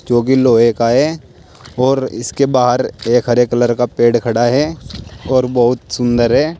जो कि लोहे का है और इसके बाहर एक हरे कलर का पेड़ खड़ा है और बहुत सुंदर है।